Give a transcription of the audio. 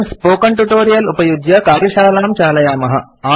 वयम् spoken tutorial उपयुज्य कार्यशालां चालयामः